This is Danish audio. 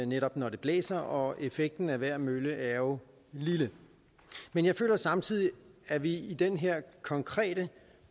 netop når det blæser og effekten af hver mølle er jo lille men jeg føler samtidig at vi i den her konkrete